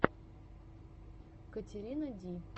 катерина ди